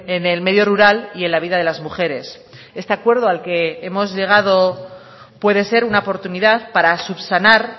en el medio rural y en la vida de las mujeres este acuerdo al que hemos llegado puede ser una oportunidad para subsanar